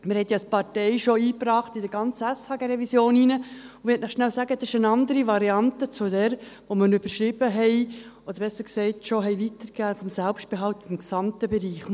Wir haben dies als Idee schon in der ganzen SHG-Revision eingebracht, und ich möchte euch schnell sagen, das ist eine andere Variante als jene vom Selbstbehalt im gesamten Bereich, die wir schon weitergegeben haben.